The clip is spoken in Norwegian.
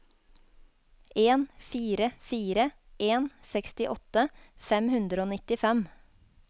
en fire fire en sekstiåtte fem hundre og nittifem